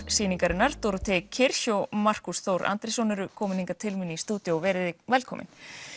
sýningarinnar Dorothée Kirch og Markús Þór Andrésson eru komin hingað til mín í stúdíó verið velkomin